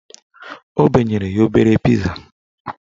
O benyere ya obere piza